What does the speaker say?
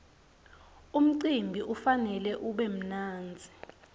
umcimbi kufanele ube mnandzi